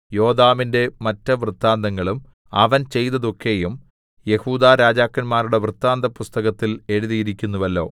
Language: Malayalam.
യോഥാമിന്റെ മറ്റ് വൃത്താന്തങ്ങളും അവൻ ചെയ്തതൊക്കെയും യെഹൂദാ രാജാക്കന്മാരുടെ വൃത്താന്തപുസ്തകത്തിൽ എഴുതിയിരിക്കുന്നുവല്ലോ